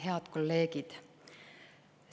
Head kolleegid!